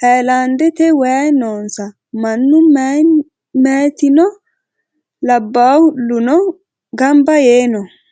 hayilandete wayi nonsa maanu mayitino labaluno ganba yee noo.